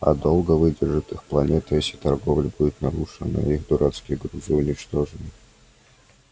а долго выдержит их планета если торговля будет нарушена и их дурацкие грузы уничтожены